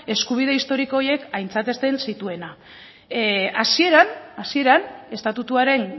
eskubide historiko horiek aintzatesten zituena hasieran estatutuaren